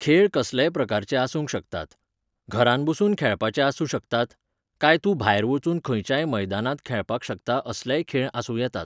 खेळ कसलेय प्रकारचे आसूंक शकतात. घरांत बसून खेळपाचे खेळ आसूं शकतात. कांय तूं भायर वचून खंयच्याय मैदानांत खेळपाक शकता असलेय खेळआसूं येतात.